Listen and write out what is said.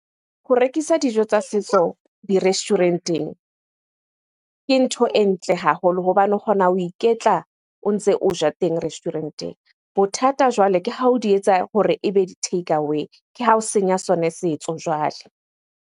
Ho rekisa dijo tsa setso di-restaurant-eng ke ntho e ntle haholo hobane o kgona ho iketla o ntse o ja teng restaurant-eng. Bothata jwale ke ha o di etsa hore ebe di-takeaway, ke ha o senya sona setso jwale.